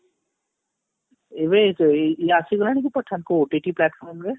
ଏବେ ଇତ ଆସି ଗଲାଣି କି pathan କୋଠି ଏଠି platform ରେ